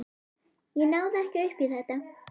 Ég náði ekki upp í þetta.